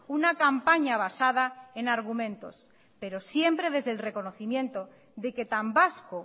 una campaña basada en argumentos pero siempre desde el reconocimiento de que tan vasco